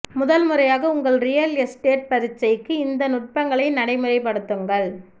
முதல் முறையாக உங்கள் ரியல் எஸ்டேட் பரீட்சைக்கு இந்த நுட்பங்களை நடைமுறைப்படுத்துங்கள்